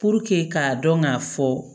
k'a dɔn k'a fɔ